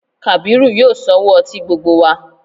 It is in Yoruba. Kàbírù yóò sanwó ọtí gbogbo wa